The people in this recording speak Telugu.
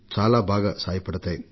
చాలా బాగా ఉపయోగపడుతోంది